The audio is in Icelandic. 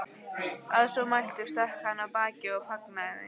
Að svo mæltu stökk hann af baki og fagnaði þeim.